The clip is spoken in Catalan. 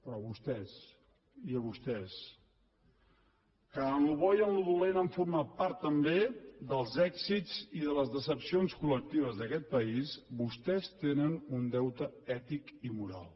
però vostès i vostès que en el bo i en el dolent han format part també dels èxits i de les decepcions col·lectives d’aquest país vostès tenen un deute ètic i moral